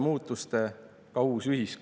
Ma olen mures tuleviku pärast, kus kõik on suhteline.